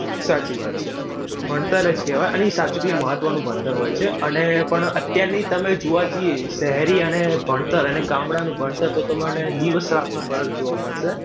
સાચી વાત છે. ભણતર જ કહેવાય. અને ઈ સાચુકલી મહત્વનું ભણતર હોય છે. અને પણ અત્યારની તમે જોવા જઈએ. શહેરી અને ભણતર અને ગામડાનુ ભણતર તો તમને દિવસ રાતનો ફરક જોવા મળશે.